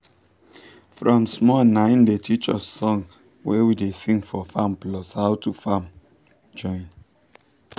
from small naim dem teach us song wey we da sing for farm plus how to farm join